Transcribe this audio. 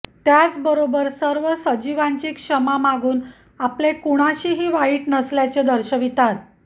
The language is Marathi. त्याचबरोबर सर्व सजीवांची क्षमा मागून आपले कुणाशीही वाईट नसल्याचे दर्शवितात